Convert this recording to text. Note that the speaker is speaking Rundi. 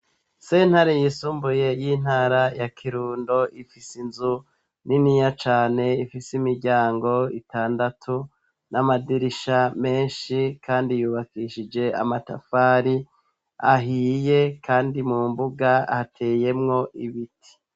Sentare yisumbuye y'intara ya Kirundo, ifise inzu niniya cane, ifise imiryango itandatu n'amadirisha menshi kandi yubakishije amatafari ahiye, kandi mu mbuga hateyemwo ibiti.